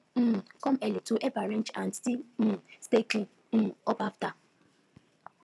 we um come early to help arrange and still um stay clean um up after